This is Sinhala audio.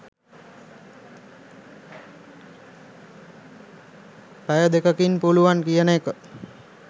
පැය දෙකකින් පුළුවන් කියන එක.